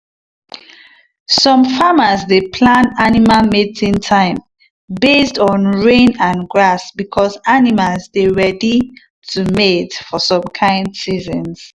some farmers dey plan animal mating time based on rain and grass because animals dey ready to mate for some kind seasons.